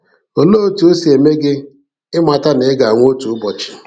Olee otú o si eme gị ịmata na ị ga-anwụ otu ụbọchị?